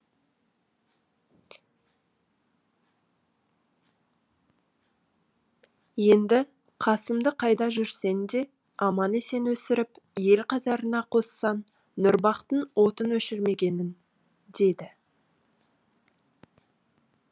енді қасымды қайда жүрсең де аман есен өсіріп ел қатарына қоссаң нұрбақтың отын өшірмегенің деді